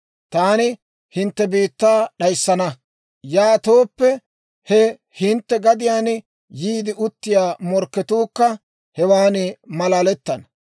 «Taani hintte biittaa d'ayssana; yaatooppe he hintte gadiyaan yiide uttiyaa morkketuukka hewaan malalettana.